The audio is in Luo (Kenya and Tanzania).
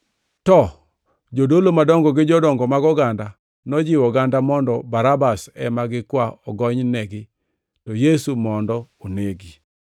To jodolo madongo gi jodongo mag oganda nojiwo oganda mondo Barabas ema gikwa ogonynegi to Yesu to mondo onegi.